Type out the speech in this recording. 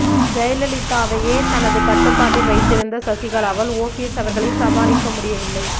ஜெயலலிதாவையே தனது கட்டுப்பாட்டில் வைத்திருந்த சசிகலாவால் ஓபிஎஸ் அவர்களை சமாளிக்க முடியவில்லை